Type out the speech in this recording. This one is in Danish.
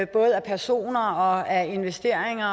både af personer og af investeringer